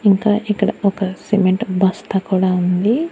ఇంకా ఇక్కడ ఒక సిమెంట్ బస్తా కూడా ఉంది.